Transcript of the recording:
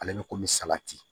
Ale bɛ komi sabati